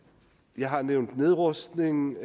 jeg har nævnt nedrustning